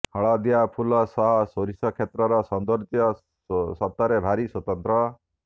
ହଳଦିଆ ଫୁଲ ସହ ସୋରିଷ କ୍ଷେତର ସୌନ୍ଦର୍ଯ୍ୟ ସତରେ ଭାରି ସ୍ୱତନ୍ତ୍ର